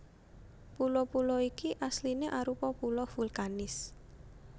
Pulo pulo iki asliné arupa pulo vulkanis